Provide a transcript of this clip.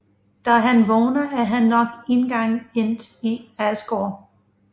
Da han vågner er han nok en gang endt i Asgård